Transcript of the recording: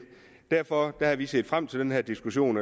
derfor har vi set frem til den her diskussion